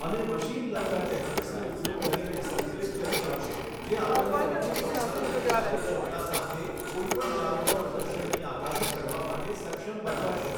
અને machine learning ટેકનિક્સનો ઉપયોગ કરીને સંકલિત કરી શકશે જે આપણને વધુ ચોક્કસાઈ અને કાર્યક્ષમતા સાથે કોઈ પણ જાતના પ્રદર્શનની આગાહી કરવા માટે સક્ષમ બનાવશે.